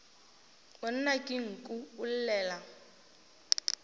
monna ke nku o llela